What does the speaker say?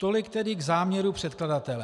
Tolik tedy k záměru předkladatele.